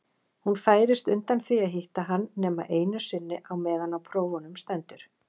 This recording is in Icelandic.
Hún færist undan því að hitta hann nema einu sinni á meðan á prófunum stendur.